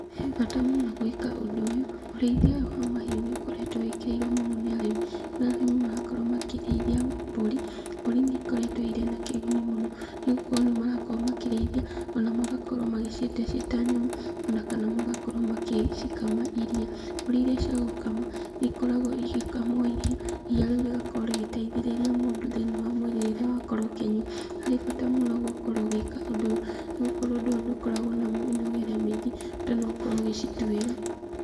He bata mũno gwĩka ũndũ ũyũ, ũrĩithia ũyũ wa mahiũ nĩ ũkoretwo wĩkĩrĩirwo mũno nĩ arĩmi, kũrĩa arĩmi marakorwo makĩrĩithia mbũri, mbũri nĩ ikoretwo irĩ na kĩguni mũno, nĩgukorwo nĩmarakorwo makĩrĩithia ona magakorwo magĩciendia ciĩ ta nyama, ona kana magakorwo magĩcikama iriia. Mbũri iria cia gũkama nĩ ikoragwo igĩkamwo iriia, iriia rĩu rĩgakorwo rĩgĩteithĩrĩria mũndũ thĩinĩ wa mwĩrĩ rĩrĩa wakorwo ũkĩnyua, harĩ bata mũno gũkorwo ũgĩka ũndũ ũyũ, nĩ gũkorwo ũndũ ũyũ ndũkoragwo na mĩnogere mĩingĩ, bata no ũkorwo ũgĩcituĩra.